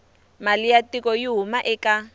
mali ya tiko yi huma eka